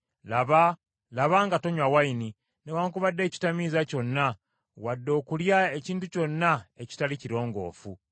Laba nga tonywa envinnyo, newaakubadde ekitamiiza kyonna, wadde okulya ekintu kyonna ekitali kirongoofu.